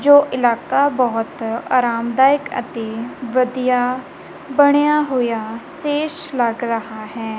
ਜੋ ਇਲਾਕਾ ਬਹੁਤ ਆਰਾਮਦਾਇਕ ਅਤੇ ਵਧੀਆ ਬਣਿਆ ਹੋਇਆ ਸੀਸ ਲੱਗ ਰਹਾ ਹੈ।